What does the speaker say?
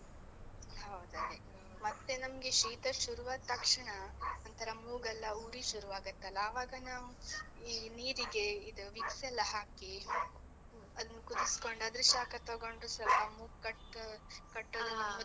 ಹೌದ್ ಅದೆ, ಮತ್ತೆ ನಮ್ಗೆ ಶೀತ ಶುರು ಆದ್ ತಕ್ಷಣ, ಒಂತರ ಮೂಗಲ್ಲ ಉರಿ ಶುರು ಆಗತ್ತಲ್ಲ, ಆವಾಗ ನಾವು ಈ ನೀರಿಗೆ ಇದ್ Vicks ಎಲ್ಲ ಹಾಕಿ ಅದ್ನ ಕುದಿಸ್ಕೊಂಡು, ಅದ್ರ ಶಾಖ ತೊಗೊಂಡ್ರು ಸ್ವಲ್ಪ ಮೂಗ್ ಕಟ್ಟೋ ಕಟ್ಟದು.